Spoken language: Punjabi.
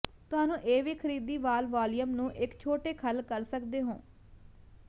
ਤੁਹਾਨੂੰ ਇਹ ਵੀ ਖਰੀਦੀ ਵਾਲ ਵਾਲੀਅਮ ਨੂੰ ਇੱਕ ਛੋਟੇ ਖੱਲ ਕਰ ਸਕਦੇ ਹੋ